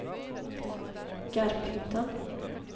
Garphyttan